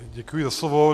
Děkuji za slovo.